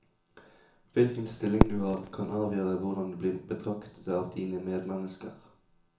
Hvilken stilling du har, kan avgjøre hvordan du blir betraktet av dine medmennesker.